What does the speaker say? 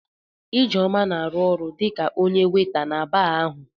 Ijeoma na-arụ ọrụ dị ka onye waịta na baa ahụ.